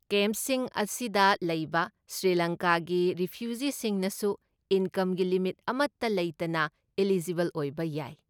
ꯀꯦꯝꯞꯁꯤꯡ ꯑꯁꯤꯗ ꯂꯩꯕ ꯁ꯭ꯔꯤꯂꯪꯀꯥꯒꯤ ꯔꯤꯐ꯭ꯌꯨꯖꯤꯁꯤꯡꯅꯁꯨ ꯏꯟꯀꯝꯒꯤ ꯂꯤꯃꯤꯠ ꯑꯃꯠꯇ ꯂꯩꯇꯅ ꯑꯦꯂꯤꯖꯤꯕꯜ ꯑꯣꯏꯕ ꯌꯥꯏ ꯫